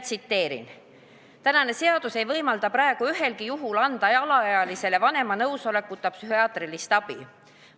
Tsiteerin: "Seadus ei võimalda praegu ühelgi juhul anda alaealisele vanema nõusolekuta psühhiaatrilist abi.